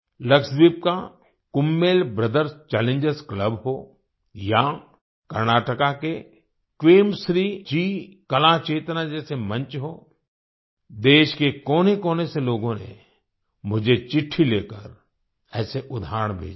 लक्षदीप का Kummel brothers challengers club हो या कर्नाटका के क्वेमश्री जी कला चेतना जैसे मंच हो देश के कोनेकोने से लोगों ने मुझे चिट्ठी लिखकर ऐसे उदाहरण भेजे हैं